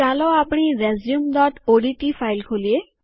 ચાલો આપણી resume ODT file ખોલીએ